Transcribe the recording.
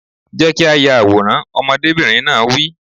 Jẹ́ kí a yà àwòrán! Ọmọdébìnrin náà wí.